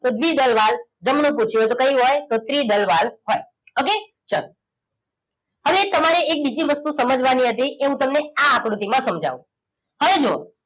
દ્રીવીદલ valve જમણી પુછી હોય તો ત્રિદલ વાલ્વ હોય ઓકે ચલો હવે તમારે એ બીજી વસ્તુ સમજવાની હતી એમ તમને અ આકૃતિ માં સમજાવું હવે જુવો